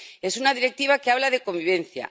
Es una Directiva que habla de convivencia